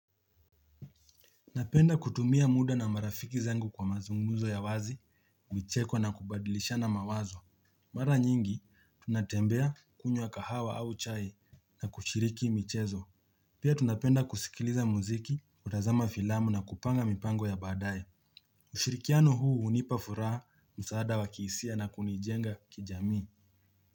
Napenda kutumia muda na marafiki zangu kwa mazungumzo ya wazi, kuchekwa na kubadilisha na mawazo. Mara nyingi, tunatembea kunywa kahawa au chai na kushiriki michezo. Pia tunapenda kusikiliza muziki, kutazama filamu na kupanga mipango ya badaye. Ushirikiano huu hunipa furaha msaada wa kihisia na kunijenga kijamii.